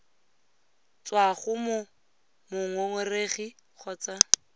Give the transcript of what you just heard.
tswa go mo mongongoregi kgotsa